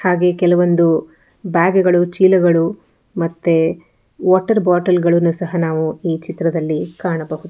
ಹಾಗೆ ಕೆಲವೊಂದು ಬ್ಯಾಗುಗಳು ಚೀಲಗಳು ಮತ್ತೆ ವಾಟರ್ ಬಾಟಲ್ಗಳನ್ನು ಸಹಾ ನಾವು ಈ ಚಿತ್ರದಲ್ಲಿ ಕಾಣಬಹುದು.